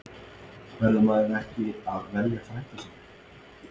Verður maður ekki að velja frænda sinn?